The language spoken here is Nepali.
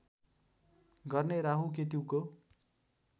गर्ने राहु केतुको